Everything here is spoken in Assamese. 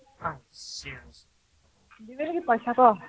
দিবি নেকি পইচা ক?